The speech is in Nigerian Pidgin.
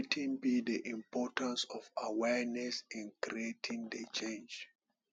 wetin be di importance of awareness in creating di change